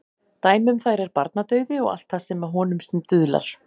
Dæmi um þær er barnadauði og allt það sem að honum stuðlar.